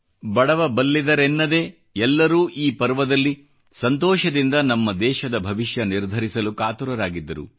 ಬಡವ ಬಲ್ಲಿದರಿಂದ ಎಲ್ಲರೂ ಈ ಪರ್ವದಲ್ಲಿ ಸಂತೋಷದಿಂದ ನಮ್ಮ ದೇಶದ ಭವಿಷ್ಯ ನಿರ್ಧರಿಸಲು ಕಾತುರರಾಗಿದ್ದರು